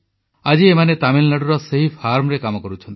ଆଜି ଏମାନେ ତାମିଲନାଡୁର ସେହି ଫାର୍ମରେ କାମ କରୁଛନ୍ତି